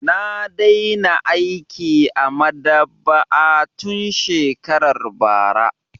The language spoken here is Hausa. Na daina aiki a maɗaba'a tun shekarar bara.